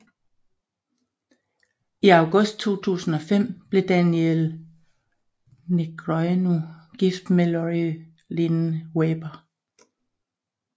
I august 2005 blev Daniel Negreanu gift med Lori Lin Weber